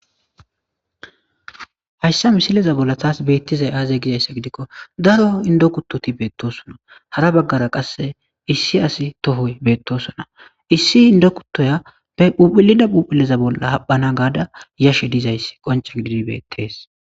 Hayssa misileza bolla tas beettizay aaze gizayssa gidikko daro inddo kuttoti beettoosona; hara baggara qasse issi asi tohoy beettoosona; issi inddo kuttoya be phuuphullida phuuphuliza bolla haphana gaada yashe dizayssi qoncce gididi beettees.